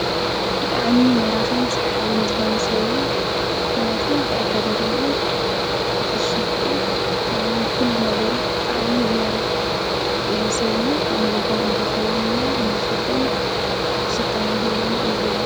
ብጥዕሚ መራኽን ሰሓብን ዝኾነ ሰብዩ ህነቱ ብኣካዳድንኡ ብፍሽኽትኡ ከምኡውን ኲሉ ነገሩ ጥዓሚ ዝማርኽ ሰብዩ ኣንግን ከም እንኮኸውንና ንኽኽደን ፍሽኽታና ህለን የዘደል